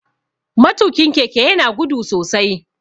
Matukin keke ya na gudu sosai.